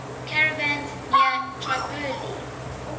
caravans near tripoli